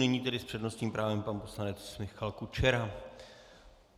Nyní tedy s přednostním právem pan poslanec Michal Kučera.